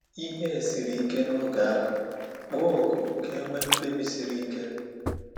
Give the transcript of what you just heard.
Ihe siri ike n’oge ahụ, kpọọ oku ka e nwee mkpebi siri ike.